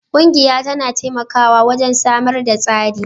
Ƙungiya tana taimakawa wajen samar da tsari